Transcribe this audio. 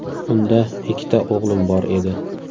Unda ikkita o‘g‘lim bor edi.